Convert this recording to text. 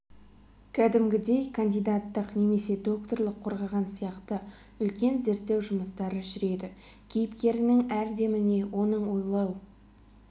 кәдімгідей кандидаттық немесе докторлық қорғаған сияқты үлкен зерттеу жұмыстары жүреді кейіпкеріңнің әр деміне оның ойлау